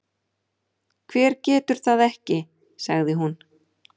Hver getur það ekki? sagði hún.